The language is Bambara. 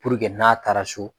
Puruke n'a taara so